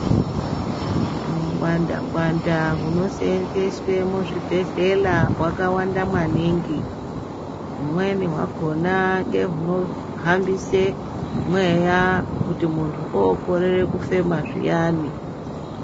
Wungwandangwanda wunosenzeswe muzvibhedhlela , wakawanda maningi. Wumweni wakhona ngegunohambise mweya kuti muntu okorere kufema zviyani.